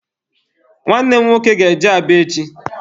Nwanne m nwoke ga-eje Aba echi.